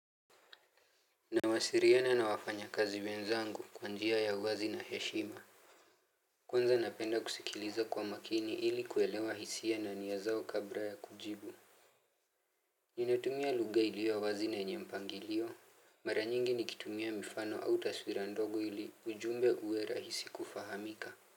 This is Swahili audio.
Nawasiliana na wafanyikazi wenzangu kwa njia ya uwazi na heshima Kwanza napenda kusikiliza kwa umakini ili kuelewa hisia na nia zao kabla ya kujibu Ninatumia lugha iliyo wazi na yenye mpangilio Mara nyingi nikitumia mifano au taswira ndogo ili ujumbe uwe rahisi kufahamika.